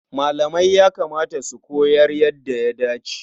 Malamai ya kamata su koyar yadda ya dace.